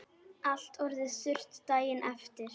Allt orðið þurrt daginn eftir.